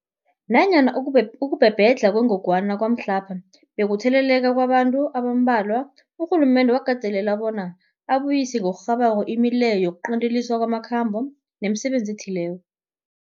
Nanyana ukubhebhedlha kwengogwana kwamhlapha bekukutheleleka kwabantu abambalwa, urhulumende wakateleleka bona abuyise ngokurhabako imileyo yokuqinteliswa kwamakhambo nemisebenzi ethileko.